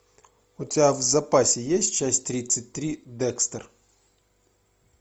у тебя в запасе есть часть тридцать три декстер